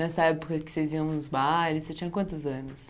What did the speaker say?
Nessa época que vocês iam nos bailes, você tinha quantos anos?